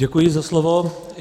Děkuji za slovo.